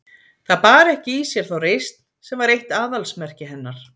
Það bar ekki í sér þá reisn sem var eitt aðalsmerki hennar.